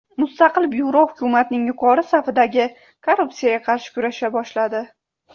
Mustaqil byuro hukumatning yuqori safidagi korrupsiyaga qarshi kurasha boshladi.